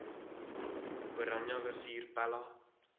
oranje rivier pella